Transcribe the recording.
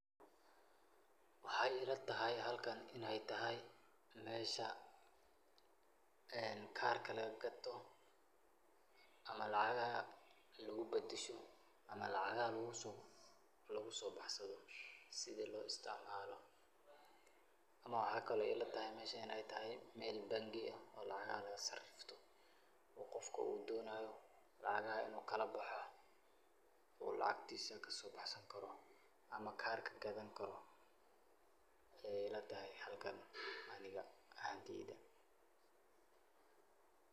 Waxay ilatahay halkan inay tahay , mesha ee karka laga katoh amah lacagaha lagu badashoo amah lacagaha lagu baxsadoh, sethi lo isticmaloh amah waxa Kali oo ilatahay meshan meel bank AA laga sariftoh oo Qoofka oo donayo lacagaha inu kalabaxoo oo lacgatisa kasobaxsankaroh, amah karka Aya ilatahay Anika halkan .